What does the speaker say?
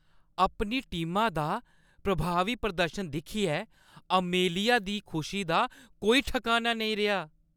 अपनी टीमा दा प्रभावी प्रदर्शन दिक्खियै अमेलिया दी खुशी दा कोई ठकाना नेईं रेहा।